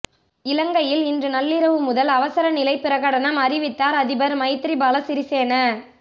இலங்கையில் இன்று நள்ளிரவு முதல் அவசர நிலை பிரகடனம் அறிவித்தார் அதிபர் மைத்ரிபால சிறிசேன